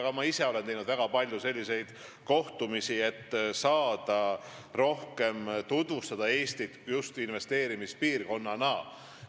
Ja ma isegi olen teinud väga palju selliseid kohtumisi, et Eestit just investeerimispiirkonnana rohkem tutvustada.